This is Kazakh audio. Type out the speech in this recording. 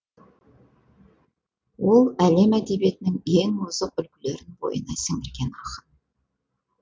ол әлем әдебиетінің ең озық үлгілерін бойына сіңірген ақын